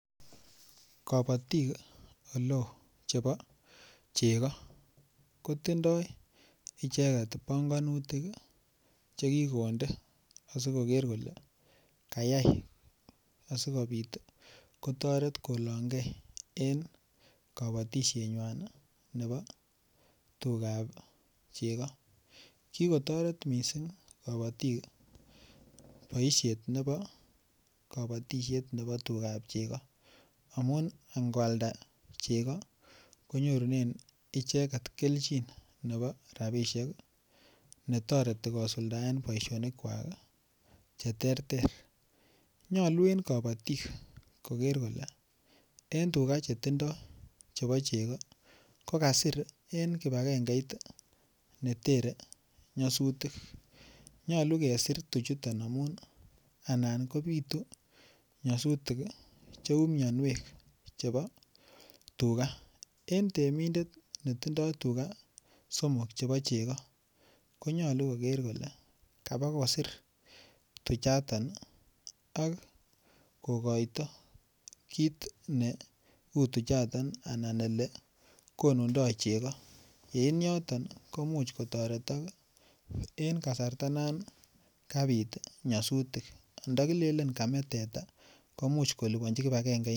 Kabatik oleo chebo chego kotindoi icheget panganutik Che kikonde asi koker kole kayai asikobit kotoret kolongei en kabatisienywan nebo tugab chego ki kotoret mising kabatik boisiet nebo kabatisiet nebo tugab chego amun ango alda chego konyorunen icheget kelchin nebo rabisiek netoreti kosuldaen boisinik kwak Che terter nyolu en kabatik koger kole en tuga Chetindoi chebo chego kokasir en kibagengeit netere nyolu nyolu kesir tuchuto amun anan kobitu nyasutik Cheu mianwek chebo tuga en temindet netindoi tuga somok chebo chego ko nyolu koger kole kaba kosir tuchaton ak kogoito kit ne uu tuchaton anan Ole konundoi chego en yoton koimuch kotoretok en kasarta non kabit nyasutik nda kilelen kame teta komuch kolipanji kipagengeinoton